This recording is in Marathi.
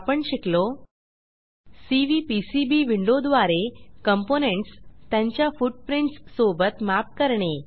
आपण शिकलो सीव्हीपीसीबी विंडोद्वारे कॉम्पोनेंट्स त्यांच्या फुटप्रिंट्स सोबत मॅप करणे